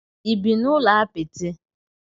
Ị bi n'ụlọ apịtị?